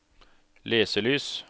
leselys